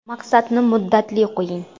Maqsadni muddatli qo‘ying!